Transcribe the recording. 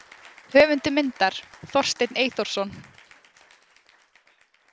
Höfundur myndar: Þorsteinn Eyþórsson.